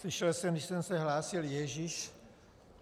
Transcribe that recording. Slyšel jsem, když jsem se hlásil, Ježíš!